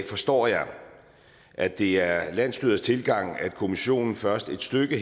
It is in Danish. forstår jeg at det er landsstyrets tilgang at kommissionen først et stykke